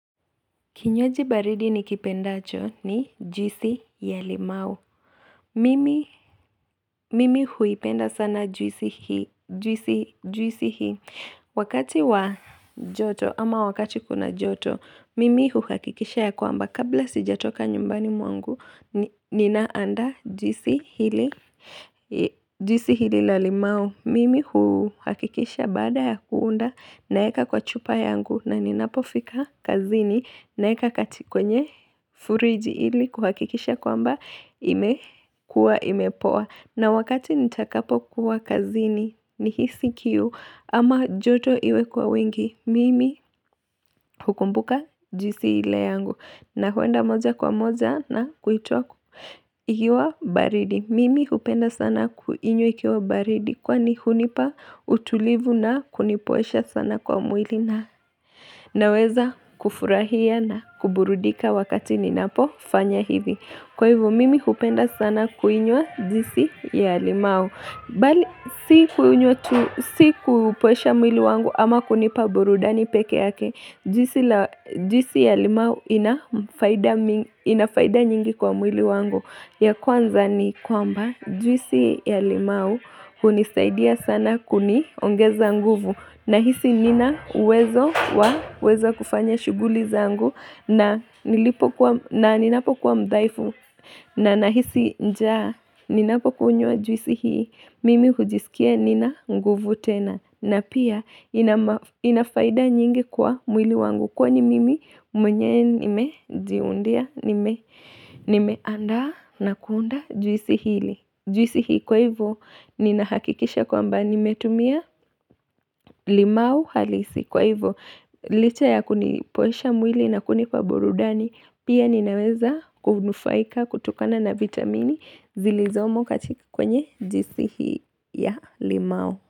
Kinywaji baridi ni kipenda cho ni jwisi ya limau. Mimi. Mimi huipenda sana jwisi hii. Wakati wa joto ama wakati kuna joto, mimi huhakikisha ya kwamba kabla sijatoka nyumbani mwangu, ninaanda jwisi hili. Jwisi hili la limau. Mimi huhakikisha bada ya kuunda naeka kwa chupa yangu na ninapofika kazini na eka katikwenye furiji ili kuhakikisha kwa mba imekua imepoa. Na wakati nitakapo kuwa kazini ni hisikiu ama joto iwe kwa wingi mimi hukumbuka jwisi ile yangu. Na huenda moja kwa moja na kuitoa ikiwa baridi. Mimi hupenda sana kuinywa ikiwa baridi kwa ni hunipa utulivu na kunipoesha sana kwa mwili na. Na weza kufurahia na kuburudika wakati ninapo fanya hivi Kwa hivu mimi kupenda sana kuinua jwisi ya limau Bali hii huinywa tu. Si kupoesha mwili wangu ama kunipa burudani peke yake jwisi la. Jwisi ya limau ina faida mingi. Inafaida nyingi kwa mwili wangu ya kwanza ni kwamba jwisi ya limau hunisaidia sana kuni ongeza nguvu Nahisi nina wezo wa wezo kufanya shuguli zangu na nilipo kwa na nina po kwa mdaifu. Na nahisi njaa nina po kunywa juisi hii mimi hujisikia nina nguvu tena na pia inama. Inafaida nyingi kwa mwili wangu kwa ni mimi mwenyewe nime diundia nime andaa na kuunda jwisi hili. Jwisi hii kwa hivyo ni nahakikisha kwa mba ni metumia limau halisi kwa hivyo. Licha ya kunipoesha mwili na kuni kwa burudani Pia ninaweza kunufaika kutukana na vitamini zilizomo katika kwenye jisi hii ya limau.